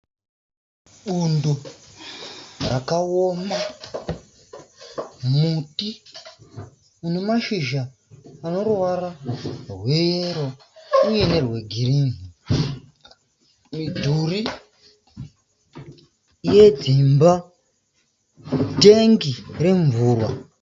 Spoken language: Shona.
Bundo rakaoma, muti une mashizha ane ruvara rweyero uye nerwegirini, midhuri yedzimba, tengi remvura.